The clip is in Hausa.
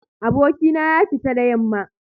Abokina ya fita da yamma